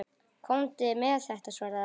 Komdu með þetta, svaraði hann.